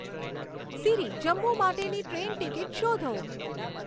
સીરી જમ્મુ માટેની train ticket શોધો